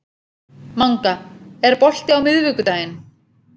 Manga, er bolti á miðvikudaginn?